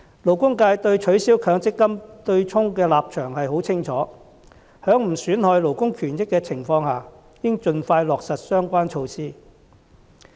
勞工界對取消強積金對沖的立場很清楚，在不損害勞工權益的情況下，應盡快落實相關措施。